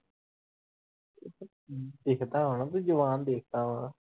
ਦਿਖਦਾ ਹਣਾ ਤੂੰ ਜਵਾਨ ਦਿਖਦਾ ਆ।